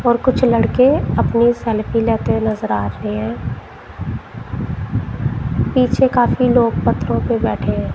और कुछ लड़के अपनी सेल्फी लेते हुए नजर आ रहे हैं पीछे काफी लोग पत्थरों पे बैठे हैं।